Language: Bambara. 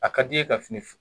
A ka d'iye ka fini fe